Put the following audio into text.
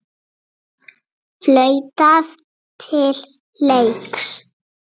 Flautað til leiks.